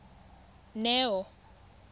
neo